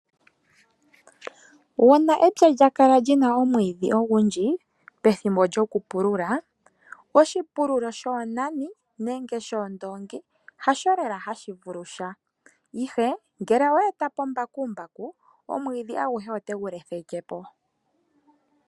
Uuna epya lya kala li na omwiidhi ogundji, pethimbo lyokupulula, oshipululo shoonani nenge shoondongi, hasho lela ha shi vulu sha. Ihe, ngele owe eta po mbakumbaku omwiidhi aguhe otegu letheke po.